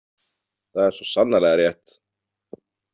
Það er svo sannarlega rétt.